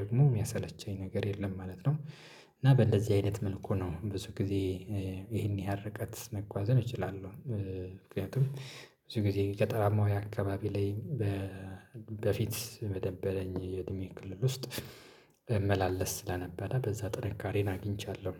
ደግሞ የሚያሰለቸኝ ነገር የለም ማለት ነው። እና በእንደዚህ አይነት መልኩ ነው ብዙ ጊዜ ይሄን ያህል ርቀት መጓዝን እችላለሁ። ምክንያቱም ብዙ ጊዜ ገጠራማው የአካባቢ ላይ በፊት መደበለኝ የእድሜ ክልል ውስጥ መመላለስ ስለነበረ በዛ ጥንካሬን አግኝቻለሁ